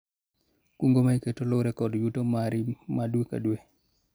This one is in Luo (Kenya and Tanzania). kungo ma iketo luwore kod yuto mari ma dwe ka dwe